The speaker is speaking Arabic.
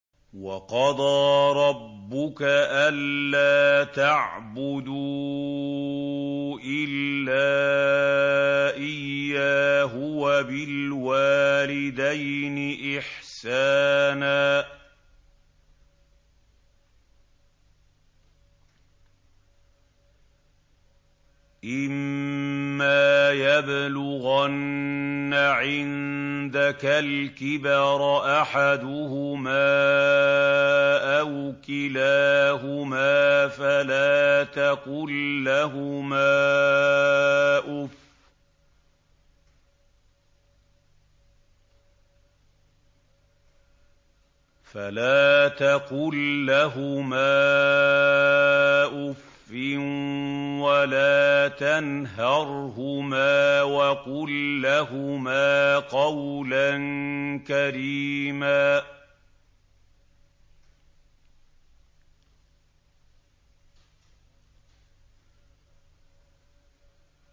۞ وَقَضَىٰ رَبُّكَ أَلَّا تَعْبُدُوا إِلَّا إِيَّاهُ وَبِالْوَالِدَيْنِ إِحْسَانًا ۚ إِمَّا يَبْلُغَنَّ عِندَكَ الْكِبَرَ أَحَدُهُمَا أَوْ كِلَاهُمَا فَلَا تَقُل لَّهُمَا أُفٍّ وَلَا تَنْهَرْهُمَا وَقُل لَّهُمَا قَوْلًا كَرِيمًا